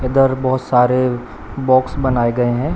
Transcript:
इधर बहुत सारे बॉक्स बनाए गए हैं।